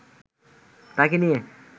তাকে নিয়ে